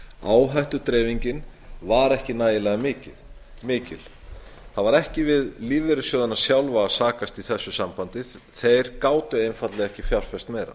áhættudreifingin var ekki nægilega mikil það var ekki við lífeyrissjóðina sjálfa að sakast í þessu sambandi þeir gátu einfaldlega ekki fjárfest meira